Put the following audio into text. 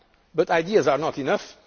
come. But ideas are not